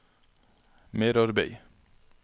merarbeid